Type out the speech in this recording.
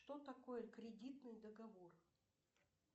что такое кредитный договор